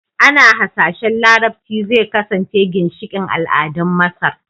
Ana hasashen Larabci zai kasance ginshiƙin al'adun Masar